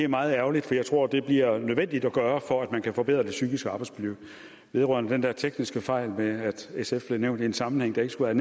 meget ærgerligt for jeg tror det bliver nødvendigt at gøre for at man kan forbedre det psykiske arbejdsmiljø vedrørende den der tekniske fejl med at sf blev nævnt i en sammenhæng vi ikke skulle